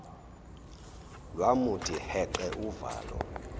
lwamuthi heqe uvalo